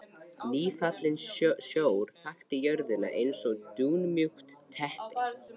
Nýfallinn sjór þakti jörðina eins og dúnmjúkt teppi.